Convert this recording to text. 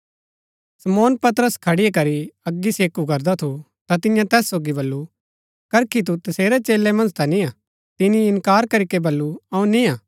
शमौन पतरस खड़ी करी अग सेकू करदा थू ता तियें तैस सोगी बल्लू करखी तू तसेरै चेलै मन्ज ता निय्आ तिनी इन्कार करीके बल्लू अऊँ निय्आ